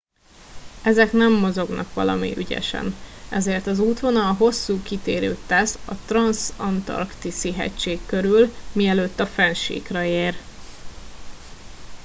ezek nem mozognak valami ügyesen ezért az útvonal hosszú kitérőt tesz a transzantarktiszi hegység körül mielőtt a fennsíkra ér